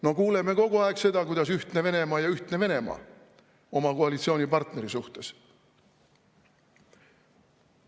No kuuleme kogu aeg seda, kuidas Ühtne Venemaa ja Ühtne Venemaa, oma koalitsioonipartneri suhtes.